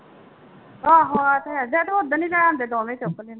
ਆਹੋ ਆਹ ਤਾਂ ਹੈ ਜਾਂ ਓਦਣ ਹੀ ਲੈ ਆਉਂਦੇ ਦੋਵੇਂ ਚੁੱਕ ਕੇ।